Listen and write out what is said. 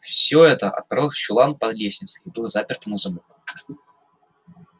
все это отправилось в чулан под лестницей и было заперто на замок